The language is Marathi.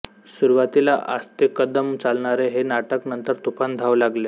सुरुवातीला आस्तेकदम चालणारे हे नाटक नंतर तुफान धावू लागले